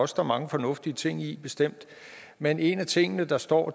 står mange fornuftige ting i bestemt men en af tingene der står